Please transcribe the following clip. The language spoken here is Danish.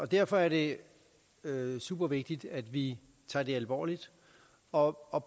derfor er det supervigtigt at vi tager det alvorligt og og